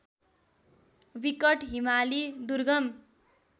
विकट हिमाली दुर्गम